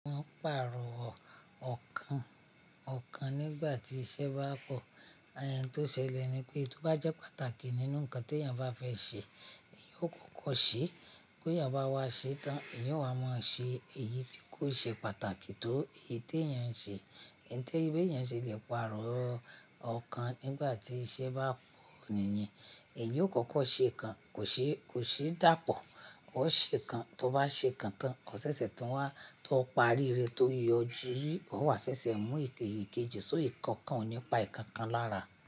Mo n pàrọ̀ ọ̀kan, ọ̀kan nígbà tí iṣẹ́ bá pọ̀, àyè tí ó ṣẹlẹ̀ ni pé, èyí tò bá jẹ́ pàtàkì nínú ǹkan tí ènìyàn bá fẹ́ ṣe, èèyàn ò kọ́kọ́ ṣe bí ènìyàn bá wá ṣe tán, èèyàn o wà máa ń ṣe èyí tí kò ṣe pàtàkì tó èyí tí ènìyàn ń ṣe. Ǹtẹ́ ìwé ènìyàn ṣe lè pàrọ̀ ọ̀kan nígbà tí iṣẹ́ bá pọ̀ nìyẹn. Èèyàn ò kọ́kọ́ ṣe ikan, kò ṣe, kò ṣe dàpọ̀. Ó ṣe kan, tó bá ṣe kan tán, ọ̀ sẹ́sẹ̀ tí ń wá, tó parí rẹ tó yọjú, ó wà sẹ́sẹ́ mú èkejì, èkejì, só ìkankan ònípa ìkankan lára.